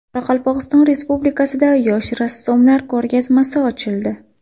Qoraqalpog‘iston Respublikasida yosh rassomlar ko‘rgazmasi ochildi.